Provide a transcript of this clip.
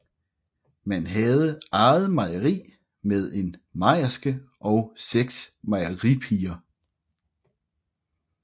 Man havde eget mejeri med en mejerske og seks mejeripiger